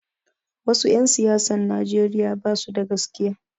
Wasu 'yan siyasan Nijeriya basu da gaskiya